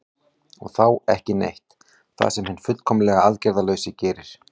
og þá „ekki neitt“ það sem hinn fullkomlega aðgerðalausi gerir